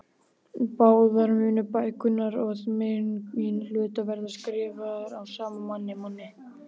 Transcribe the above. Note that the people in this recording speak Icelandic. Báðar munu bækurnar að meginhluta vera skrifaðar af sama manni.